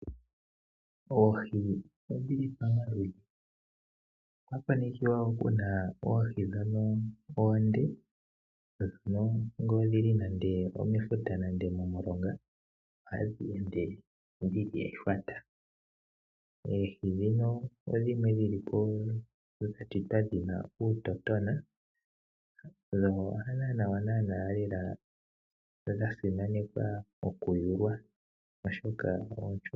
Oohi odhi li pamaludhi. Okwa konekiwa ku na oohi ndhono oonde. Oohi ndhono ngele odhi li nande omefuta nande momulonga ohadhi ende dhi li ehwata. Oohi ndhino oohi dhimwe dhi li po dha shitwa dhi na uutotona dho hadho naanaa dha simanekwa okuliwa, oshoka oonshona.